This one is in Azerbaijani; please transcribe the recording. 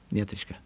Niyetşka.